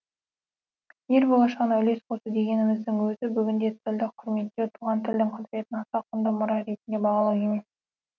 ел болашағына үлес қосу дегеніміздің өзі бүгінде тілді құрметтеу туған тілдің құдіретін аса құнды мұра ретінде бағалау емес пе